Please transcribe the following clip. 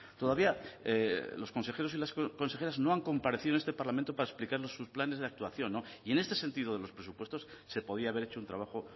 todavía los consejeros y las consejeras no han comparecido en este parlamento para explicarnos sus planes de actuación y en este sentido de los presupuestos se podía haber hecho un trabajo